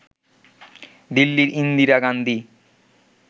দিল্লির ইন্দিরা গান্ধী